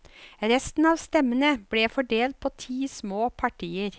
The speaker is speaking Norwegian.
Resten av stemmene ble fordelt på ti små partier.